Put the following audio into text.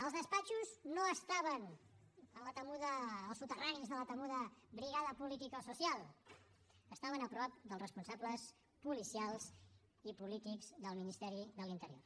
els despatxos no estaven en la temuda o soterranis de la temuda brigada politicosocial estaven a prop dels responsables policials i polítics del ministeri de l’interior